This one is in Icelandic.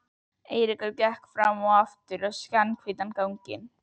Eiríkur gekk fram og aftur skjannahvítan gang.